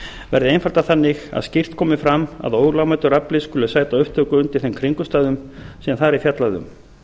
verði einfaldað þannig að skýrt komi fram að ólögmætur afli skuli sæta upptöku undir þeim kringumstæðum sem þar er fjallað um